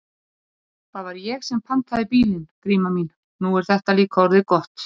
Bjössa bregður ónotalega.